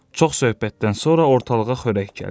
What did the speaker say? Çox söhbətdən sonra ortalığa xörək gəldi.